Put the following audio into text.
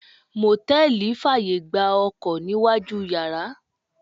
Mòtẹ́lì fàyè gba Ọkọ̀ níwájú u yàrá.